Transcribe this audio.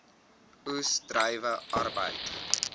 oes druiwe arbeid